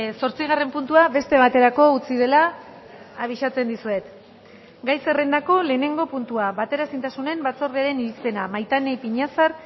zortzigarren puntua beste baterako utzi dela abisatzen dizuet gai zerrendako lehenengo puntua bateraezintasunen batzordearen irizpena maitane ipiñazar